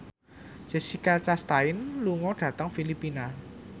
Jessica Chastain lunga dhateng Filipina